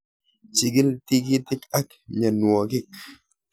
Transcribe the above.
Chikil tikiitik ak myaanwokik